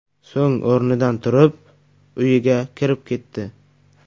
So‘ng o‘rnidan turib, uyiga kirib ketdi .